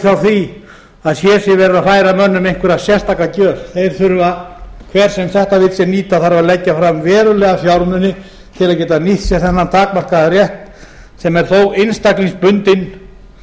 frá því að hér sé verið að færa mönnum einhverja sérstaka gjöf þeir þurfa hver sem þetta vill sér nýta þarf að leggja fram verulega fjármuni til að geta nýtt sér þennan takmarkaða rétt sem er þó einstaklingsbundinn